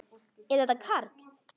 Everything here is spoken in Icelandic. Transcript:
Er þetta Karl?